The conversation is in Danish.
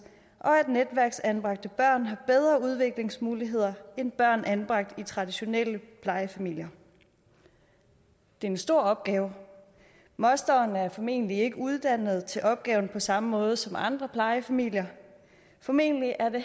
og at netværksanbragte børn har bedre udviklingsmuligheder end børn anbragt i traditionelle plejefamilier det er en stor opgave mosteren er formentlig ikke uddannet til opgaven på samme måde som andre plejefamilier formentlig er det